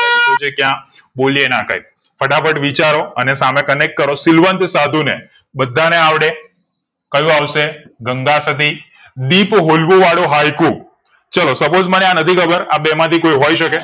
આપ્યું છે ક્યાં બોલ્યે ના કઈ ફટાફટ વિચારો અને સામે connect શીલવંત સાધુને બધાને આવડે કયું આવશે ગંગાસતી દીપ હોલવું વાળું હાઈકુ ચલો suppose મને આ નથી ખબર આ બે માંથી કોઈ હોય શકે